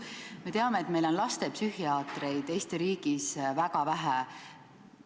Me teame, et Eestis on lastepsühhiaatreid väga vähe.